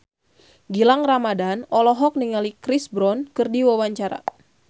Gilang Ramadan olohok ningali Chris Brown keur diwawancara